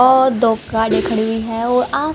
और दो कारे खड़ी हुई है औ आ--